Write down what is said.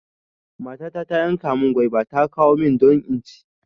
Matata ta yanka mun gwaiba ta kawo mun don inci